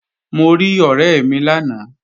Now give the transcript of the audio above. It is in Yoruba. Mo rí ọ̀rẹ́ mi lánàá